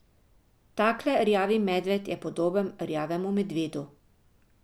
Takle rjavi medved je podoben rjavemu medvedu.